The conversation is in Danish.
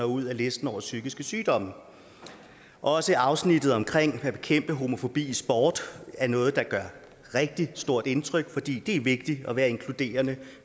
ud af listen over psykiske sygdomme også afsnittet om at bekæmpe homofobi i sport er noget der gør rigtig stort indtryk for det er vigtigt at være inkluderende